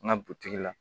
N ka butigi la